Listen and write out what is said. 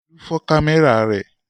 Olú fọ́ kámẹ́rà rẹ̀.